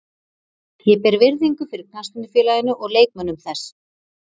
Ég ber virðingu fyrir knattspyrnufélaginu og leikmönnum þess.